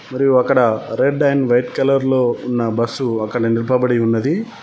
మరియు అక్కడ red and white colour లో ఉన్న బస్సు అక్కడ నిల్పబడి ఉన్నది.